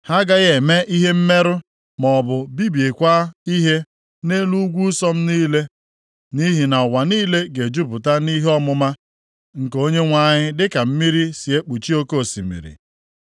Ha agaghị eme ihe mmerụ maọbụ bibikwa ihe, nʼelu ugwu nsọ m niile. Nʼihi na ụwa niile ga-ejupụta na ihe ọmụma nke Onyenwe anyị dịka mmiri si ekpuchi oke osimiri.